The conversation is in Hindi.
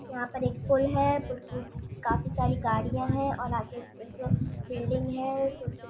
यहाँ पे पूल है इट्स काफी सारि गाड़िया है और आगे एक दो बिल्डिंग है छोटे छोटे--